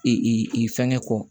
I i fɛnkɛ kɔ